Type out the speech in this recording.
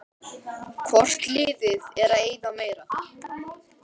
Hvort liðið er að eyða meira?